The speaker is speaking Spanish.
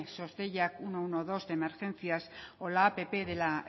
sos deiak uno uno dos de emergencias o la app de la